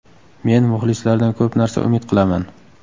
Men muxlislardan ko‘p narsa umid qilaman.